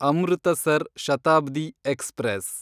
Amritsar Shatabdi express